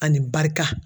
Ani barika